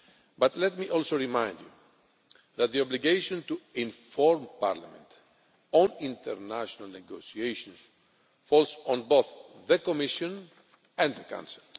But let me also remind you that the obligation to inform Parliament on international negotiations falls on both the Commission and the Council.